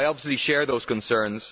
I obviously share those concerns.